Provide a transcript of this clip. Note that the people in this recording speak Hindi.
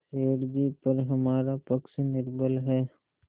सेठ जीपर हमारा पक्ष निर्बल है